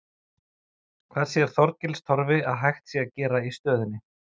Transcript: En hvað sér Þorgils Torfi að hægt sé að gera í stöðunni?